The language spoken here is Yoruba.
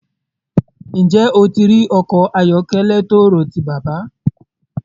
Njẹ́ ó ti rí ọkọ ayọ̀kẹlẹ̀ tọ́ọ̣́ọ̣̀rọ̀ sí bàbá?